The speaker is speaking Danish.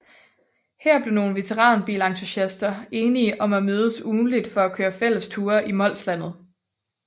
Her blev nogle veteranbilentusiaster enige om at mødes ugentligt for at køre fælles ture i Molslandet